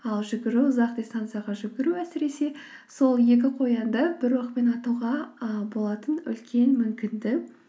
ал жүгіру ұзақ дистанцияға жүгіру әсіресе сол екі қоянды бір оқпен атуға ы болатын үлкен мүмкіндік